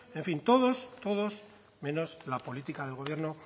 en fin todos menos la política del gobierno